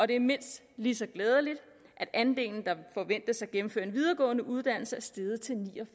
det er mindst lige så glædeligt at andelen der forventes at gennemføre en videregående uddannelse er steget til ni og